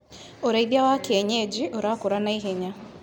ũrĩithia wa kienyeji ũrakũra na ihenya.